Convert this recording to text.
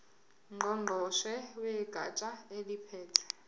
ngqongqoshe wegatsha eliphethe